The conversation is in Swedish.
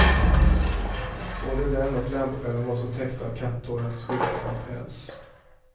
Både den och lampskärmen var så täckta av katthår att de såg ut att ha päls.